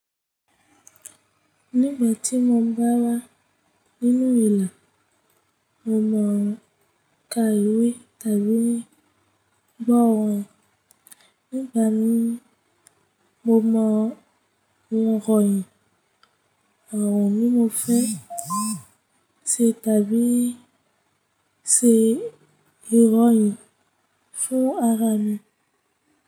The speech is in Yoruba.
Nígbà tí mo ń bá wá nínú ìlà, mo mọ n kà ìwé tàbí gbọ́ orin. Nígbà mi mo mọ òǹrọ̀yìn àwọn tí mo fẹ́ ṣé tàbí ṣé ìròyìn fún ara mi.